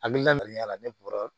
A bi laɲini kɛ a la ne bɔra